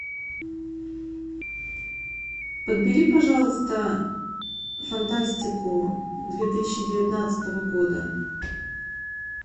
подбери пожалуйста фантастику две тысячи девятнадцатого года